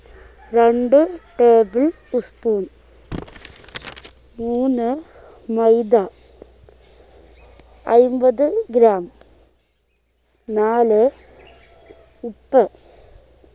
രണ്ടു table spoon മൂന്ന് മൈദ അയിമ്പത് gram നാല് ഉപ്പ്